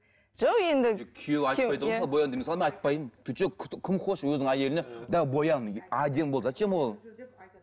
жоқ енді күйеуі айтпайды ғой мысалы боян деп мысалы мен айтпаймын ты че кто кім хочет өзінің әйеліне да боян әдемі бол зачем ол